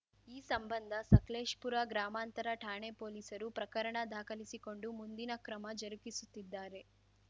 ಈ ಸಂಬಂಧ ಸಕಲೇಶ್ಪುರ ಗ್ರಾಮಾಂತರ ಠಾಣೆ ಪೊಲೀಸರು ಪ್ರಕರಣ ದಾಖಲಿಸಿಕೊಂಡು ಮುಂದಿನ ಕ್ರಮ ಜರುಗಿಸುತ್ತಿದ್ದಾರೆ